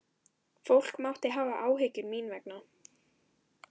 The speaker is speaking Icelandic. Fólk mátti hafa áhyggjur, mín vegna.